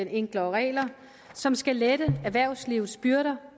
enklere regler som skal lette erhvervslivets byrder